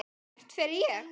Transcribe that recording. Hvert fer ég?